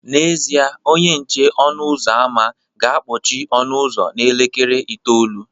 N'ezie, onye nche ọnụ ụzọ ámá ga-akpọchi ọnụ ụzọ n'elekere itoolu